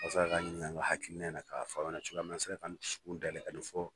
Walasa k'a ɲininka in na k'a fɔ n'an sera k'an dusu kun dayɛlɛ ka dɔ fɔ